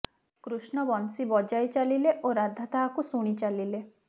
କୃଷ୍ଣ ବଂଶୀ ବଜାଇ ଚାଲିଲେ ଓ ରାଧା ତାହାକୁ ଶୁଣି ଚାଲିଲେ